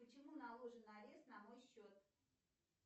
почему наложен арест на мой счет